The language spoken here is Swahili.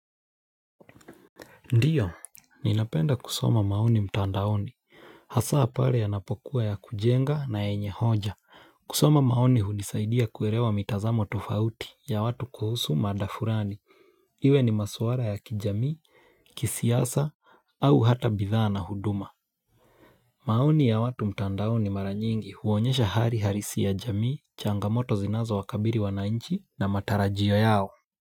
Ndiyo, ninapenda kusoma maoni mtandaoni. Hasa pale yanapokuwa ya kujenga na yenye hoja. Kusoma maoni hunisaidia kuelewa mitazamo tofauti ya watu kuhusu mada fulani. Iwe ni maswala ya kijamii, kisiasa au hata bidhaa na huduma. Maoni ya watu mtandaoni mara nyingi huonyesha hali halisi ya jamii, changamoto zinazo wakabili wananchi na matarajio yao.